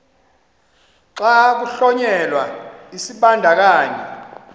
xa kuhlonyelwa isibandakanyi